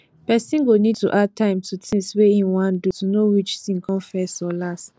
person go need to add time to tins wey im wan do to know which tin come first or last